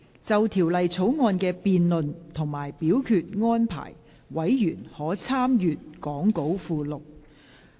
就條例草案的辯論及表決安排，委員可參閱講稿附錄。